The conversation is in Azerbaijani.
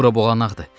Bura boğanaqdır.